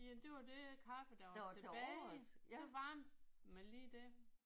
Jamen det var det kaffe der var tilbage. Så varmede man lige det